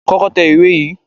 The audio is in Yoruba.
Kọ́kọ́ tẹ ìwé yìí!